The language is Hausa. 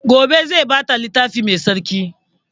Gobe zai ba ta littafi mai tsarki